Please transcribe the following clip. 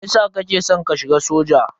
Meyasa kake san ka shiga soja?